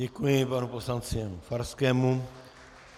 Děkuji panu poslanci Farskému.